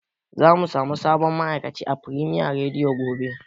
Zamu samu sabon ma'aikaci a Firemiya rediyo gobe.